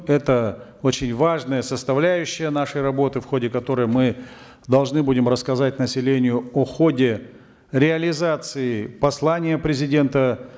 это очень важная составляющая нашей работы в ходе которой мы должны будем рассказать населению о ходе реализации послания президента